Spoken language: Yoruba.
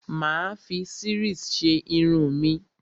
Mà á fi series ṣe irun mi.